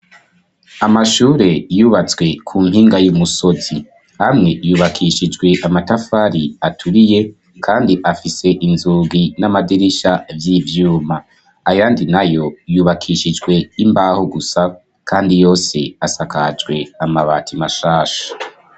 Amashuuri yubatswe ku mpinga yùmusozi, hamwe yubakishijwe amatafari atuuriye kandi afise inzugi n`amadirisha vy’ivyuma, ayandi nayo yubakishijwe imbaho gusa kandi yose asakajwe amabati mashasha.